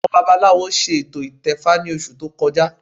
Àwọn babaláwo ṣe ètò ìtẹfa ní oṣù tó kọjá